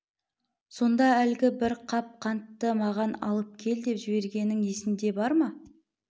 сонда әлгі бір қап қантты маған алып кел деп жібергенің есіңде бар ма